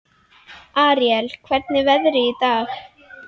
Aríel, hvernig er veðrið í dag?